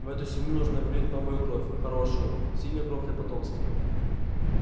в эту семью нужно влить новую кровь хорошую сильную кровь для потомства